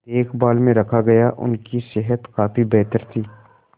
देखभाल में रखा गया उनकी सेहत काफी बेहतर थी